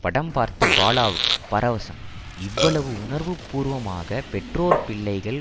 படம் பார்த்த பாலாவுக்கு பரவசம் இவ்வளவு உணர்வு பூர்வமாக பெற்றோர் பிள்ளைகள்